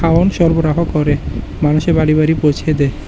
সরবরাহ করে মানুষের বাড়ি বাড়ি পৌছে দেয়।